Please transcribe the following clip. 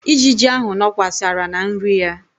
Ijiji ahụ nọkwasara na nri ya.